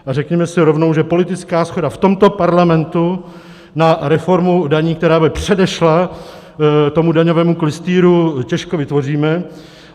A řekněme si rovnou, že politickou shodu v tomto parlamentu na reformu daní, která by předešla tomu daňovému klystýru, těžko vytvoříme.